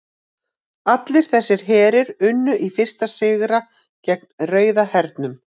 Allir þessir herir unnu í fyrstu sigra gegn Rauða hernum.